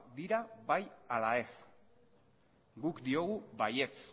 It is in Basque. dira bai ala ez guk diogu baietz